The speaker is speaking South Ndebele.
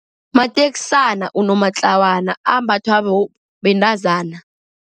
Mateksana unomatlawana, ambathwa bentazana.